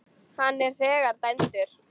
Hann er þegar dæmdur.